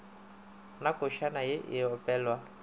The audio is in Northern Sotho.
na košana ye e opelwa